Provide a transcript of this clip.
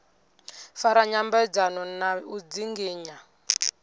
fara nyambedzano na u dzinginya